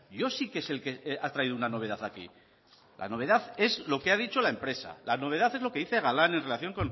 yo sí que es el que ha traído una novedad aquí la novedad es lo que ha dicho la empresa la novedad es lo que dice galán en relación